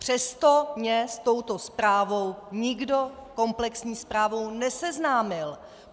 Přesto mě s touto zprávou nikdo, komplexní zprávou, neseznámil.